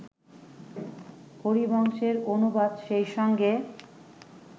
হরিবংশের অনুবাদ সেই সঙ্গে